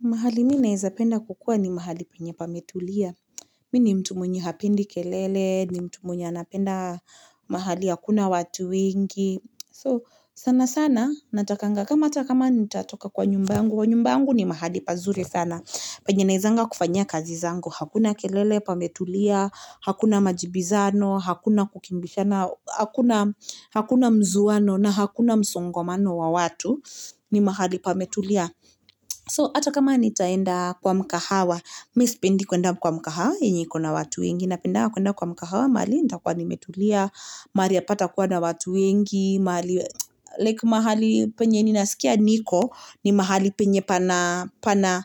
Mahali mi naeza penda kukuwa ni mahali penye pametulia. Mi ni mtu mwenye hapendi kelele, ni mtu mwenye anapenda mahali hakuna watu wengi. Sana sana natakanga kama hata kama nitatoka kwa nyumba yangu. Nyumba yangu ni mahali pazuri sana. Penye naezanga kufanyia kazi zangu. Hakuna kelele pametulia. Hakuna majibizano. Hakuna kukimbishana. Hakuna mzowano, na hakuna msongomano wa watu. Ni mahali pametulia. So hata kama nitaenda kwa mkahawa. Mi sipendi kuenda kwa mkahawa yenye iko na watu wengi. Napendanga kuenda kwa mkahawa. Mahali nitakuwa nimetulia. Mahali hapata kuwa na watu wengi. Mahali penye ninasikia niko. Ni mahali penye pana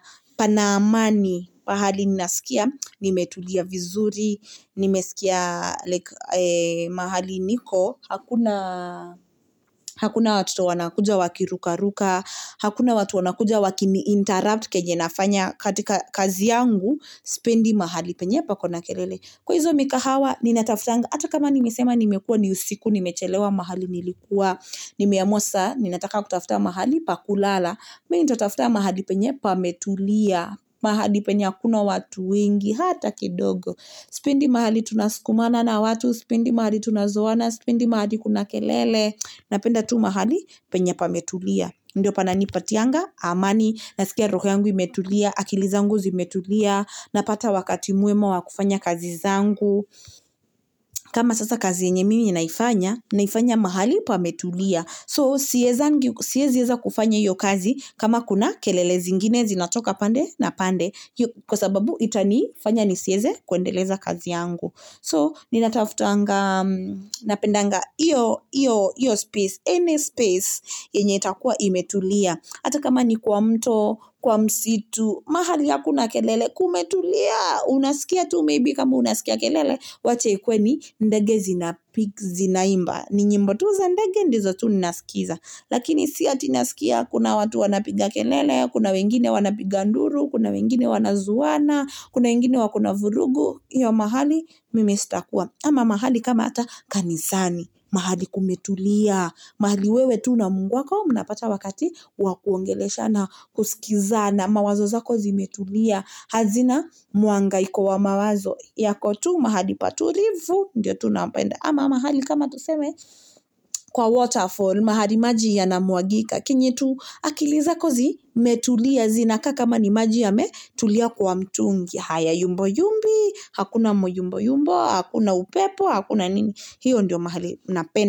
amani. Pahali ninasikia nimetulia vizuri. Nimesikia mahali niko. Hakuna watoto wanakuja wakirukaruka. Hakuna watu wanakuja wakiniinterrupt. Kenye nafanya katika kazi yangu. Sipendi mahali penye pako na kelele. Kwa hizo mikahawa. Ninatafutanga. Hata kama nimesema nimekuwa ni usiku. Nimechelewa mahali nilikuwa. Nimeamua sasa. Ninataka kutafuta mahali pa kulala. Mi nitatafuta mahali penye pametulia. Mahali penye hakuna watu wengi. Hata kidogo. Sipendi mahali tunasukumana na watu. Sipendi mahali tunazowana. Sipendi mahali kuna kelele. Napenda tu mahali penye pametulia. Ndio pananipatianga amani. Naskia roho yangu imetulia. Akili zangu zimetulia. Napata wakati mwema wa kufanya kazi zangu. Kama sasa kazi yenye mimi naifanya. Naifanya mahali pametulia. So siezi eza kufanya hiyo kazi. Kama kuna kelele zingine zinatoka pande na pande. Kwa sababu itanifanya nisieze kuendeleza kazi yangu. So ninatafutanga. Napendanga iyo. Iyo, iyo, iyo space. Any space yenye itakuwa imetulia. Hata kama ni kwa mto. Kwa msitu. Mahali hakuna kelele. Kumetulia. Unasikia tu maybe kama unasikia tu kelele. Wacha ikuwe ni ndege zina Zinaimba. Ni nyimbo tu za. Ndege ndizo tu ninasikiza. Lakini si ati naskia kuna watu wanapiga kelele. Kuna wengine wanapiga nduru. Kuna wengine wanazowana. Kuna wengine wako na vurugu. Hiyo mahali mimi sitakuwa. Ama mahali kama hata kanisani. Mahali kumetulia. Mahali wewe tu na mungu wako. Mnapata wakati wa kuongeleshana, kuskizana. Mawazo zako zimetulia. Hazina mhangaiko wa mawazo. Yako tu. Mahali patulivu. Ndiyo tu napenda. Ama mahali kama tuseme. Kwa waterfall. Mahali maji yanamwagika. Kenye tu akili zako zi metulia. Zinakaa kama ni maji yame. Tulia kwa mtungi. Haya yumba yumbi. Hakuna myumboyumbo. Hakuna upepo. Hakuna nini. Hiyo ndiyo mahali napenda.